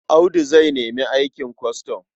Audu zai nemi aikin kwastam.